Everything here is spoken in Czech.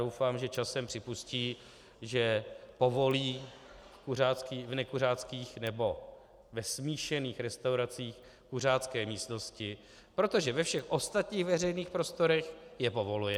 Doufám, že časem připustí, že povolí v nekuřáckých nebo ve smíšených restauracích kuřácké místnosti, protože ve všech ostatních veřejných prostorech je povoluje.